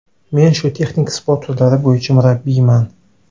Men shu texnik sport turlari bo‘yicha murabbiyman.